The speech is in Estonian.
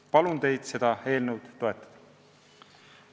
Palun teid seda eelnõu toetada!